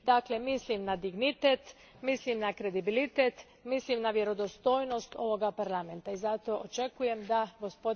Dakle, mislim na dignitet, mislim na kredibilitet, mislim na vjerodostojnost ovoga Parlamenta i zato očekujem da g.